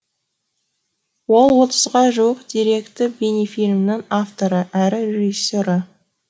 ол отызға жуық деректі бейнефильмнің авторы әрі режиссері